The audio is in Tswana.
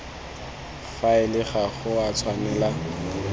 faele ga go a tshwanela